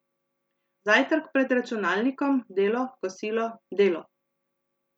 Zajtrk pred računalnikom, delo, kosilo, delo.